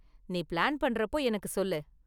நீ பிளான் பண்றப்போ எனக்கு சொல்லு.